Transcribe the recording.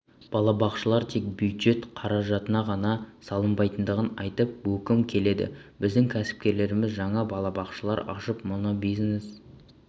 балабақшалар тек бюджет қаражатына ғана салынбайтындығын айтып өткім келеді біздің кәсіпкерлеріміз жаңа балабақшалар ашып мұны бизнес